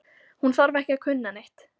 Hún þarf ekki að kunna neitt.